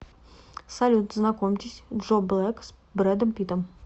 салют знакомьтесь джо блэк с бредом питтом